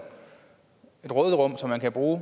råderum som man kan bruge